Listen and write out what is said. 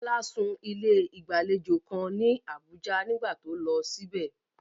Bola sùn ní ilé ìgbàlejò kan ní Abuja nígbà tó lọ síbẹ̀.